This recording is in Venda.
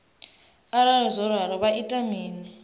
arali zwo ralo vha ita mini